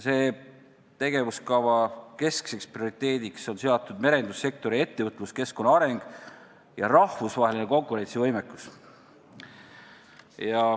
Selle tegevuskava prioriteediks on seatud merendussektori ettevõtluskeskkonna areng ja rahvusvaheline konkurentsivõime.